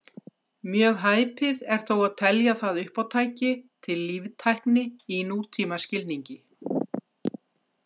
Mjög hæpið er þó að telja það uppátæki til líftækni í nútímaskilningi.